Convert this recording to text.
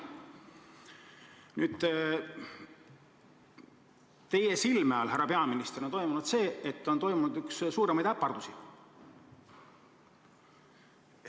Teie silme all, härra peaminister, on toimunud üks suuremaid äpardusi.